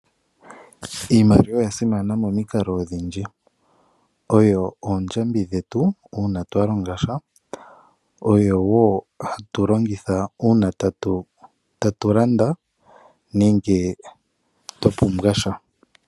Iimaliwa oya simana momikalo odhindji. Oyo oondjambi dhetu uuna twa longasha. Oyo woo hatu longitha uuna tatu landa nenge twa pumbwasha.